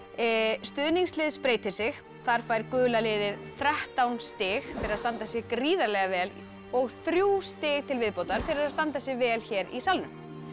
stuðningslið spreytir sig þar fær gula liðið þrettán stig fyrir að standa sig gríðarlega vel og þrjú stig til viðbótar fyrir að standa sig vel hér í salnum